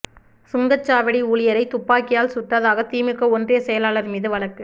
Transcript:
சுங்கச்சாவடி ஊழியரை துப்பாக்கியால் சுட்டதாக திமுக ஒன்றிய செயலாளர் மீது வழக்கு